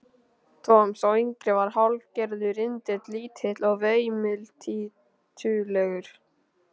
Tom, sá yngri, var hálfgerður rindill, lítill og veimiltítulegur.